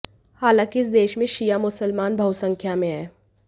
हालांकि इस देश में शिया मुसलमान बहुसंख्या में हैं